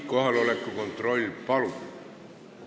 Kohaloleku kontroll, palun!